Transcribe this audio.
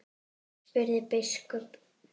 spurði biskup.